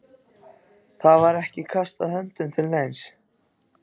Það var ekki kastað höndum til neins.